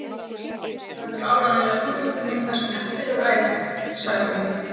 Lúlli verður áreiðanlega fúll út í mig það sem eftir er ævinnar sagði